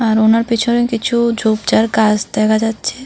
আর ওনার পেছনে কিছু ঝোপ ঝাড় গাছ দেখা যাচ্ছে।